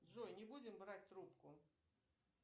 джой не будем брать трубку